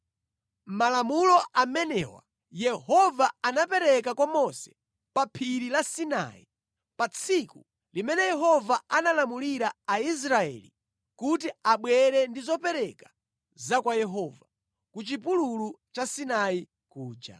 Malamulo amenewa Yehova anapereka kwa Mose pa Phiri la Sinai pa tsiku limene Yehova analamulira Aisraeli kuti abwere ndi zopereka za kwa Yehova, ku chipululu cha Sinai kuja.